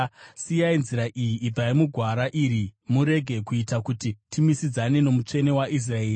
Siyai nzira iyi, ibvai mugwara iri, murege kuita kuti timisidzane noMutsvene waIsraeri!”